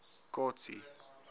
kotsi